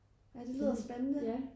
Ja det lyder spændende